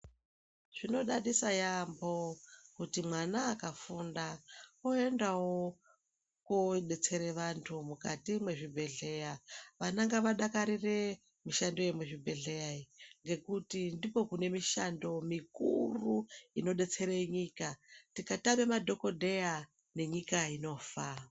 Zvinodadisa yaamho kuti mwana akafunda oendawo koodetsera vantu mukati mwezvibhendleya. Vana ngavadakarire mishando yemizvibhendleya iyi ngekuti ndiko kune mishando mikuru inodetsera nyika. Tikatama madhokodheya nenyika inofa.